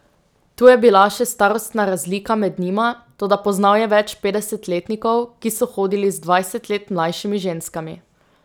Tu je bila še starostna razlika med njima, toda poznal je več petdesetletnikov, ki so hodili z dvajset let mlajšimi ženskami.